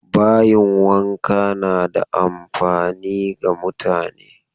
Bayin wanka na da amfani ga mutane.